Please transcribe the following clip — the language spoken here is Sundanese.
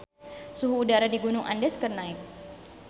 Suhu udara di Gunung Andes keur naek